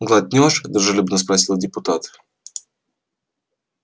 глотнёшь дружелюбно вопросил депутат